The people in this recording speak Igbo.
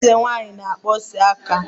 Eze nwanyị na-emesapụ aka